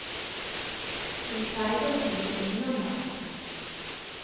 Hun pleide å stikke innom meg.